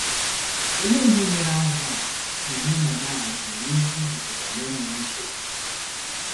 Olee ihe mere azụ̀ a na anemone a ji nwee ike ibikọtali n’enweghị nsogbu?